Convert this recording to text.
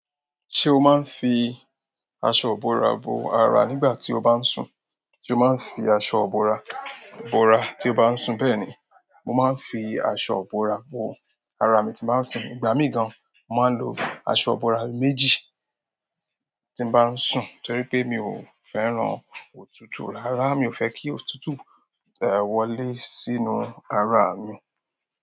Ṣé o máa ń fi aṣọ ìbora bo ara nígbà tí o bá ń sùn? Sé o máa ń fi aṣọ ìbora bora tí o bá ń sùn. Bẹ́ẹ̀ ni, mo máa ń fi aṣọ ìbora bo ara mi tí bá ń sùn. Ìgbà mi gan, mo máa ń lo aṣọ ìbora méjì tí bá ń sùn torí pé mi ò fẹ́ran òtútù arara mi ò fẹ́ kí òtútù wọlé sínú ara mi.